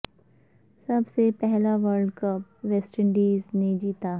سب سے پہلا world cup West Indies نے جیتا